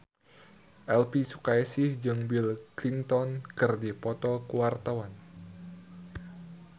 Elvy Sukaesih jeung Bill Clinton keur dipoto ku wartawan